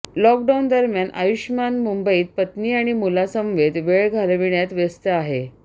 lockdown दरम्यान आयुष्मान मुंबईत पत्नी आणि मुलांसमवेत वेळ घालविण्यात व्यस्त आहे